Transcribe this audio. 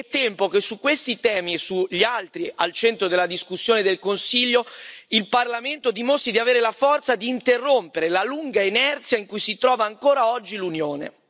È tempo che su questi temi e su gli altri al centro della discussione del Consiglio, il Parlamento dimostri di avere la forza di interrompere la lunga inerzia in cui si trova ancora oggi l'Unione.